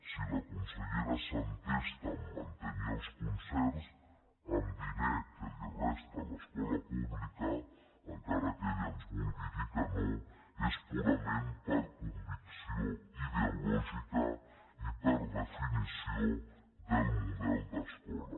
si la consellera s’entesta a mantenir els concerts amb diner que resta de l’escola pública encara que ella ens vulgui dir que no és purament per convicció ideològica i per definició del model d’escola